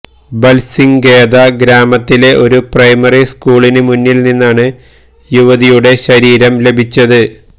ബല്സിംഗ്ഘേദ ഗ്രാമത്തിലെ ഒരു പ്രൈമറി സ്കൂളിന് മുന്നില് നിന്നാണ് യുവതിയുടെ ശരീരം ലഭിച്ചത്